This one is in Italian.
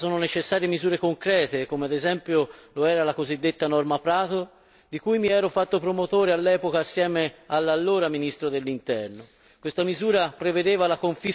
Per combattere situazioni come questa sono necessarie misure concrete, come lo era, ad esempio, la cosiddetta norma Prato, di cui mi ero fatto promotore all'epoca, assieme all'allora ministro dell'Interno.